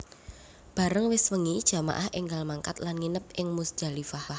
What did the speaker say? Bareng wis wengi jamaah énggal mangkat lan nginep ing Muzdalifah